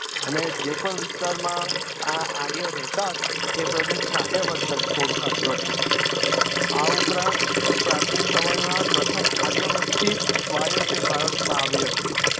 અને જે પણ વિસ્તારમાં આ આર્યો રેહતા હતા એ પ્રદેશ ને આર્યભટ્ટ તરીકે ઓળખતું હતું આ ઉપરાંત પાર્ચીન સમય માં પ્રથમ આર્ય વસ્તી જ વાયવ્ય થીજ ભારત માં આવી હતી